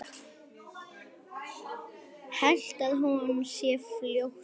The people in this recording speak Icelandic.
Held að hún sé flótti.